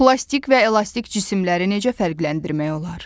Plastik və elastik cisimləri necə fərqləndirmək olar?